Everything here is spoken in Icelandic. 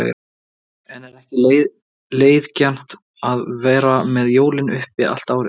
En er ekki leiðigjarnt að vera með jólin uppi allt árið?